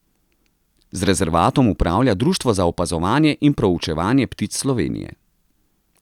Z rezervatom upravlja Društvo za opazovanje in proučevanje ptic Slovenije.